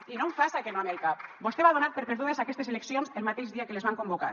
i no em faça que no amb el cap vostè va donar per perdudes aquestes eleccions el mateix dia que les van convocar